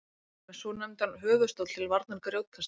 hann er með svonefndan höfuðstól til varnar grjótkasti